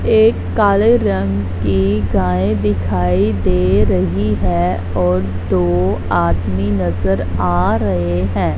एक काले रंग की गाय दिखाई दे रही है और दो आदमी नजर आ रहे हैं।